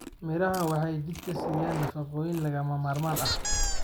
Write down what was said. Miraha waxa ay jidhka siiyaan nafaqooyin lagama maarmaan ah.